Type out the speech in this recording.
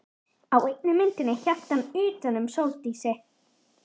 Á einni myndinni hélt hann utan um Sóldísi.